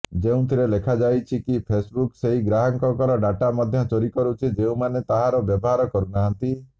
ଯେଉଁଥିରେ ଲେଖାଯାଇଛି କି ଫେସବୁକ୍ ସେହି ଗ୍ରାହକଙ୍କର ଡ଼ାଟା ମଧ୍ୟ ଚୋରି କରୁଛି ଯେଉଁମାନେ ତାହାର ବ୍ୟବହାର କରୁନାହାନ୍ତି